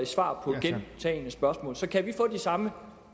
svar på gentagne spørgsmål så kan vi få de samme